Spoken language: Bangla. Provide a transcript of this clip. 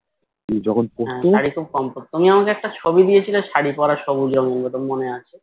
হ্যাঁ শাড়ি খুব কম পড়তো তুমি আমাকে একটা ছবি দিয়েছিলে শাড়ী পড়া ছবি মনে আছে